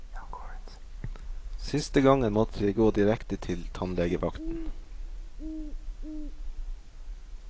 Siste gangen måtte jeg gå direkte til tannlegevakten.